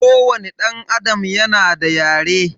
Kowani danAdam yana da yare.